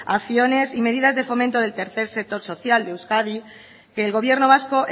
acciones y medidas de fomento del tercer sector social de euskadi que el gobierno vasco